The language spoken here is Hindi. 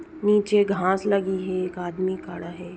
नीचे घास लगी है एक आदमी खड़ा है।